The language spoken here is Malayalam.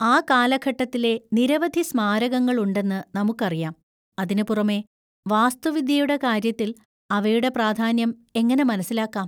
ആ കാലഘട്ടത്തിലെ നിരവധി സ്മാരകങ്ങൾ ഉണ്ടെന്ന് നമുക്കറിയാം; അതിനുപുറമെ, വാസ്തുവിദ്യയുടെ കാര്യത്തിൽ അവയുടെ പ്രാധാന്യം എങ്ങനെ മനസ്സിലാക്കാം?